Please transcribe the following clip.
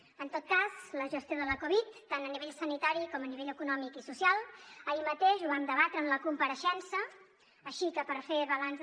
en tot cas la gestió de la covid tant a nivell sanitari com a nivell econòmic i social ahir mateix ho vam debatre en la compareixença així que per fer balanç